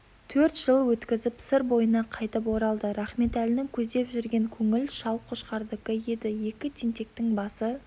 төрт жыл өткізіп сыр бойына қайтып оралды рахметәлінің көздеп жүрген көңіл шал қошқардікі еді екі тентектің басы